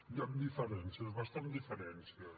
hi han diferències bastantes diferències